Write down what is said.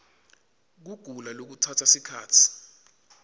kugula lokutsatsa sikhatsi